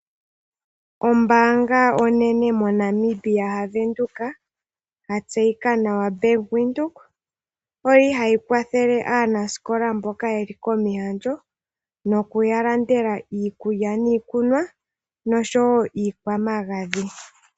Ombaanga onene moNamibia yaWindhoek yatseyika nawa nedhina Bank Windhoek, oyili hayi kwathele aanasikola mboka yeli komihandjo noku yalandela iikulya niikunwa nosho wo okuya landela iikwamagadhi.